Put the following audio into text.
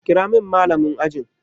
Kira min Mallamin ajin ku!